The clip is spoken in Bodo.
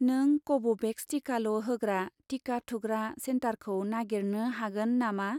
नों कभ'भेक्स टिकाल' होग्रा टिका थुग्रा सेन्टारखौ नागिरनो हागोन नामा?